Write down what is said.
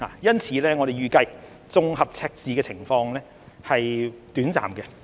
因此，我們預計綜合赤字的情況是短暫的。